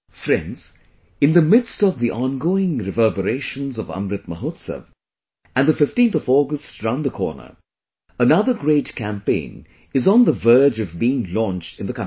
Friends, in the midst of the ongoing reverberations of Amrit Mahotsav and the 15th of August round the corner, another great campaign is on the verge of being launched in the country